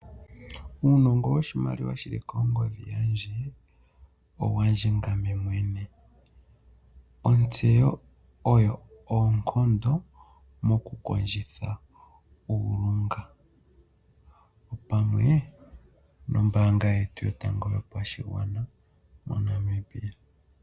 Uunongo woshimaliwa shili kongodhi yandje owandje ngame mwene, Ontseyo oyo oonkondo moku kondjitha uulunga opamwe nombaanga yetu yotango yopashigwana moNamibia.